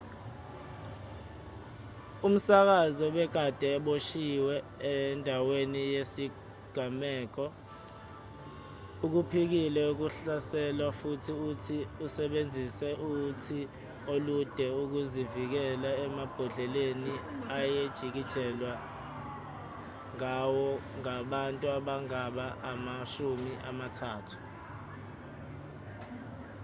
umsakazi obekade eboshiwe endaweni yesigameko ukuphikile ukuhlaselwa futhi uthi usebenzise uthi olude ukuzivikela emabhodleleni ayejikijelwa ngawo ngabantu abangaba amashumi amathathu